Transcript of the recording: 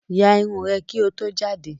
Yà ìrun rẹ ki ó tó jàde!